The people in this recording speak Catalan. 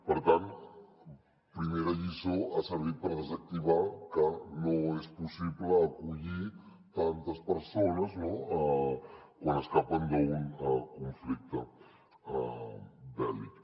per tant primera lliçó ha servit per desactivar que no és possible acollir tantes persones quan escapen d’un conflicte bèl·lic